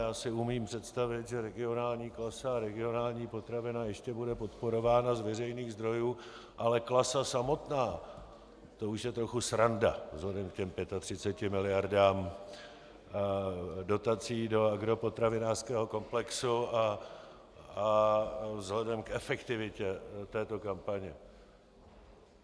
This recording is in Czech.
Já si umím představit, že Regionální klasa a Regionální potravina ještě bude podporována z veřejných zdrojů, ale Klasa samotná, to už je trochu sranda vzhledem k těm 35 miliardám dotací do agropotravinářského komplexu a vzhledem k efektivitě této kampaně.